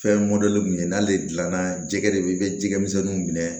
Fɛn min ye n'ale gilanna jɛgɛ de ye i bɛ jɛgɛ misɛnninw minɛ